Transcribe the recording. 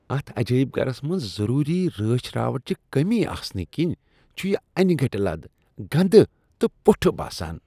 اتھ عجٲیب گرس منٛز ضروٗری رٲچھ راوٹھٕچہِ کٔمی آسنہٕ کنہِ چھ یہ انہِ گٔٹہِ لد، گندٕ تہٕ پُٹھہٕ باسان۔